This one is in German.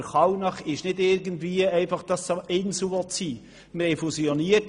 Aber Kallnach will nicht einfach eine Insel sein.